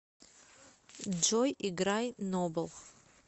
джой играй нобл